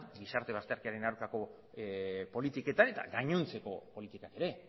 gizarte bazterkeriaren aurkako politiketan eta gainontzeko politikak ere